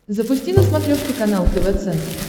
запусти на смотрешке канал тв центр